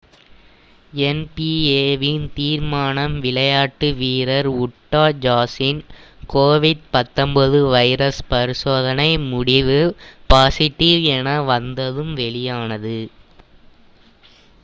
NP. A வின் தீர்மானம் விளையாட்டு வீரர் உட்டா ஜாஸின் கோவிட்-19 வைரஸ் பரிசோதனை முடிவு பாஸிட்டிவ் என வந்ததும் வெளியானது